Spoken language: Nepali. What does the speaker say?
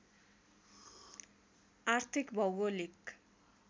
आर्थिक भौगोलिक